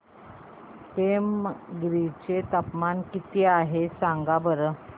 पेमगिरी चे तापमान किती आहे सांगा बरं